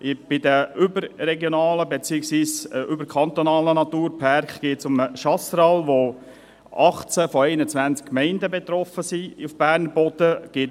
Bei den überregionalen beziehungsweise überkantonalen Naturpärken geht es um den Chasseral, bei dem 18 von 28 Gemeinden auf Berner Boden betroffen sind.